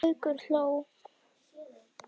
Gaukur hló.